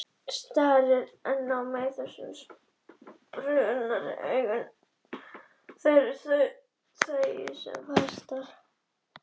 Starir enn á mig þessum spurnaraugum, en ég þegi sem fastast.